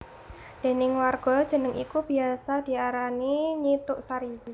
Déning warga jeneng iku biyasa diarani Nyi Tuk Sari